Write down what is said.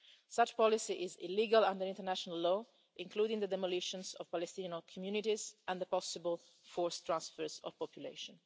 Such a policy is illegal under international law, including the demolitions of Palestinian communities and the possible forced transfers of population.